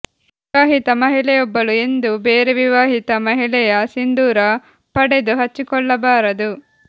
ವಿವಾಹಿತ ಮಹಿಳೆಯೊಬ್ಬಳು ಎಂದೂ ಬೇರೆ ವಿವಾಹಿತ ಮಹಿಳೆಯ ಸಿಂಧೂರ ಪಡೆದು ಹಚ್ಚಿಕೊಳ್ಳಬಾರದು